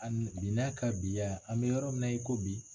Ani bi n'a ka bi ya an bɛ yɔrɔ min na i ko bi.